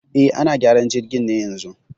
E, ana gyaran jirgin ne yanzun